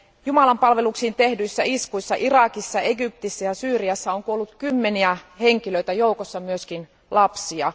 Jumalanpalveluksiin tehdyissä iskuissa Irakissa, Egyptissä ja Syyriassa on kuollut kymmeniä henkilöitä, joiden joukossa on myös lapsia.